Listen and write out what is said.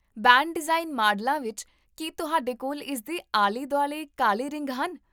Band design ਮਾਡਲਾਂ ਵਿੱਚ, ਕੀ ਤੁਹਾਡੇ ਕੋਲ ਇਸਦੇ ਆਲੇ ਦੁਆਲੇ ਕਾਲੇ ਰਿੰਗ ਹਨ?